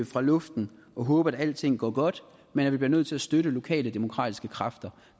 fra luften og håbe at alting går godt men at vi bliver nødt til at støtte lokale demokratiske kræfter